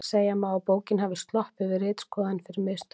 Segja má að bókin hafi sloppið við ritskoðun fyrir mistök.